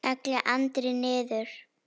kallaði Andri niður.